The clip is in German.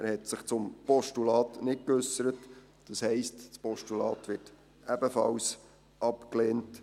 Er hat sich zum Postulat nicht geäussert, das heisst, das Postulat wird ebenfalls abgelehnt.